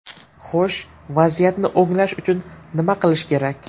Xo‘sh, vaziyatni o‘nglash uchun nima qilish kerak?